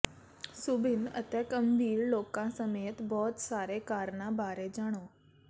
ਸੁਭਿੰਨ ਅਤੇ ਗੰਭੀਰ ਲੋਕਾਂ ਸਮੇਤ ਬਹੁਤ ਸਾਰੇ ਕਾਰਨਾਂ ਬਾਰੇ ਜਾਣੋ